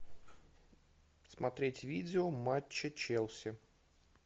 смотреть видео матча челси